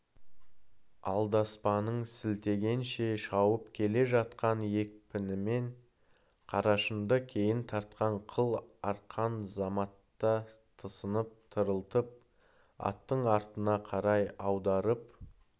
алдаспанын сілтегенше шауып келе жатқан екпінімен қарашыңды кейін тартқан қыл арқан заматта тынысын тарылтып аттың артына қарай аударып